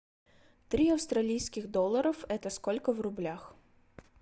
три австралийских долларов это сколько в рублях